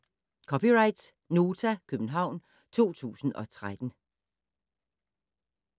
(c) Nota, København 2013